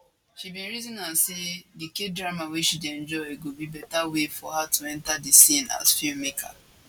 she bin reason am say di kdrama wey she dey enjoy go be beta way for her to enta di scene as filmmaker